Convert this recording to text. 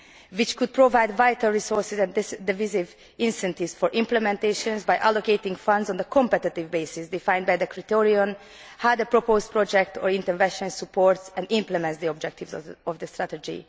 This could provide vital resources and devise incentives for implementation by allocating funds on a competitive basis defined by the criterion of how the proposed project or intervention supports and implements the objectives of the strategy.